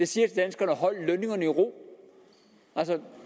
siger til danskerne hold lønningerne i ro